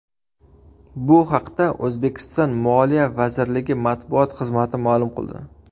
Bu haqda O‘zbekiston Moliya vazirligi matbuot xizmati ma’lum qildi .